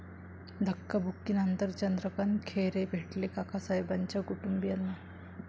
धक्काबुक्कीनंतर चंद्रकांत खैरे भेटले काकासाहेबाच्या कुटुंबियांना!